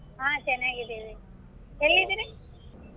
ಹಾ ಚೆನ್ನಾಗಿದ್ದೇವೆ ಎಲ್ಲಿದಿರಿ?